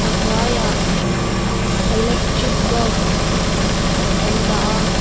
a hnuaiah electric bulb an dah a.